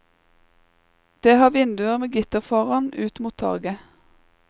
Det har vinduer med gitter foran ut mot torget.